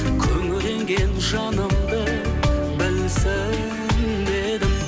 күңіренген жанымды білсін дедім